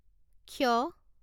ক্ষ